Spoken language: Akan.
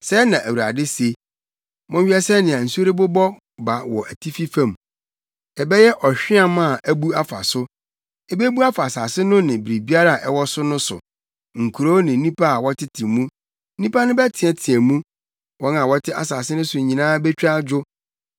Sɛɛ na Awurade se: “Monhwɛ sɛnea nsu rebobɔ ba wɔ atifi fam; ɛbɛyɛ ɔhweam a abu afa so. Ebebu afa asase no ne biribiara ɛwɔ so no so, nkurow no ne nnipa a wɔtete mu. Nnipa no bɛteɛteɛ mu; wɔn a wɔte asase no so nyinaa betwa adwo